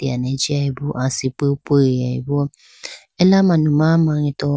eyane jiyayi bo asipi piyayi bo ela manuma mangeto.